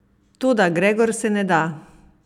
Toda Gregor se ne da!